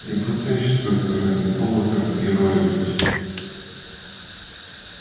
не пытайся только ради бога там героя играть